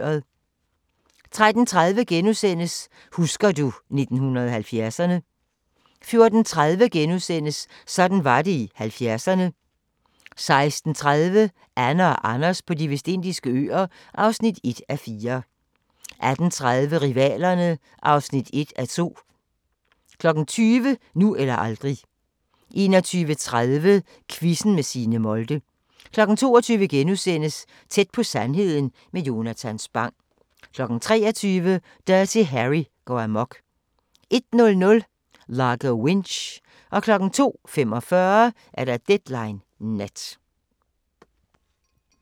13:30: Husker du 1970'erne ...* 14:30: Sådan var det i 70'erne * 16:30: Anne & Anders på De Vestindiske Øer (1:4) 18:30: Rivalerne (1:2) 20:00: Nu eller aldrig 21:30: Quizzen med Signe Molde 22:00: Tæt på sandheden med Jonatan Spang * 23:00: Dirty Harry går amok 01:00: Largo Winch 02:45: Deadline Nat